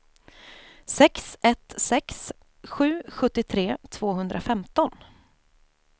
sex ett sex sju sjuttiotre tvåhundrafemton